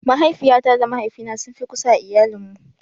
Mahaifiyata da mahaifina sun fi kusa a iayalin mu.